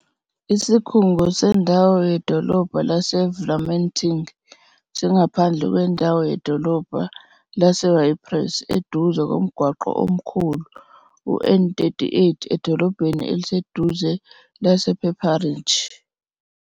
Isikhungo sendawo yedolobha laseVlamertinge singaphandle kwendawo yedolobha laseYpres, eduze komgwaqo omkhulu uN38 edolobheni eliseduze lasePaperinge.